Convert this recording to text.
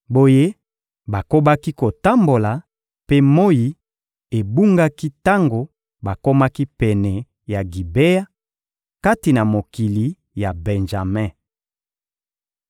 Boye bakobaki kotambola, mpe moyi ebungaki tango bakomaki pene ya Gibea, kati na mokili ya Benjame.